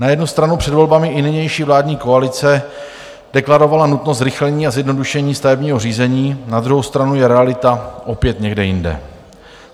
Na jednu stranu před volbami i nynější vládní koalice deklarovala nutnost zrychlení a zjednodušení stavebního řízení, na druhou stranu je realita opět někde jinde.